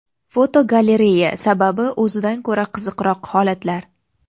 Fotogalereya: Sababi o‘zidan ko‘ra qiziqroq holatlar.